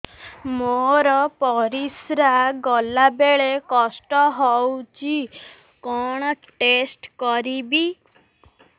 ମୋର ପରିସ୍ରା ଗଲାବେଳେ କଷ୍ଟ ହଉଚି କଣ ଟେଷ୍ଟ କରିବି